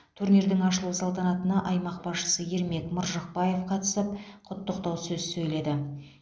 турнирдің ашылу салтанатына аймақ басшысы ермек маржықпаев қатысып құттықтау сөз сөйледі